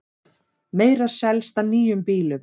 Meira selst af nýjum bílum